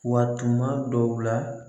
Wa tuma dɔw la